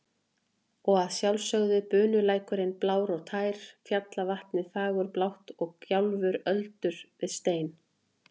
Og að sjálfsögðu bunulækurinn blár og tær, fjallavatnið fagurblátt og gjálfur öldu við stein.